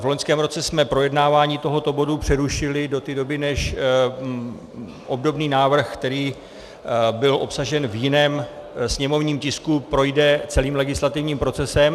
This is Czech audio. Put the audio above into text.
V loňském roce jsme projednávání tohoto bodu přerušili do té doby, než obdobný návrh, který byl obsažen v jiném sněmovním tisku, projde celým legislativním procesem.